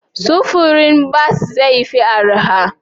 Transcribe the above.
Sufurin bas zai fi arha?